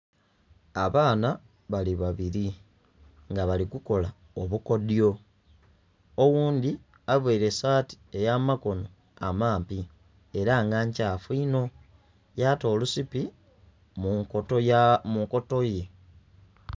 Abaana bali babiri nga bali kukola obukodyo oghundhi avaire saati ey'amakono amampi era nga nkyafu inho yata olusipi mu nkotoye.